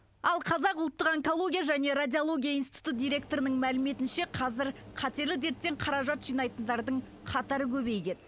ал қазақ ұлттық онкология және радиология институты директорының мәліметінше қазір қатерлі дерттен қаражат жинайтындардың қатары көбейген